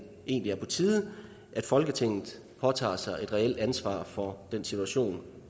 egentlig er på tide at folketinget påtager sig et reelt ansvar for den situation